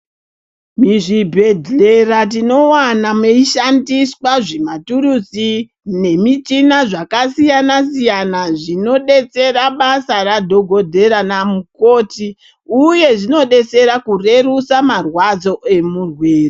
Muzvibhedhlera tinowana meishandiswa maturusi nemichina zvakasiyana siyana zvinobetsera basa radhogodhera namukoti uye zvinodetsera kurerutsa marwadzo emurwere.